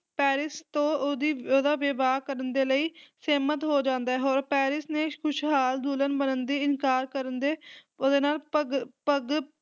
Paris ਤੋਂ ਉਹਦੀ ਉਹਦਾ ਵਿਵਾਹ ਕਰਨ ਦੇ ਲਈ ਸਹਿਮਤ ਹੋ ਜਾਂਦਾ ਹੈ ਹੋਰ ਪੈਰਿਸ ਨੇ ਇਸ ਖੁਸ਼ਹਾਲ ਦੁਲਹਨ ਬਣਨ ਦੀ ਇਨਕਾਰ ਕਰਨ ਦੇ ਉਹਦੇ ਨਾਲ ਭਗ ਭਗ